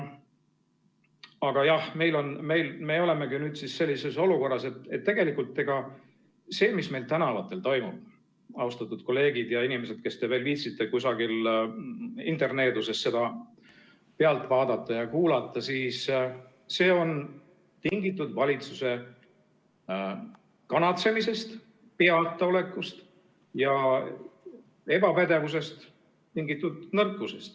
Aga jah, me olemegi sellises olukorras, et tegelikult see, mis meil tänavatel toimub, austatud kolleegid ja inimesed, kes te viitsite veel kusagilt interneedusest seda pealt vaadata ja kuulata, on tingitud valitsuse kanatsemisest, peataolekust ja ebapädevusest tingitud nõrkusest.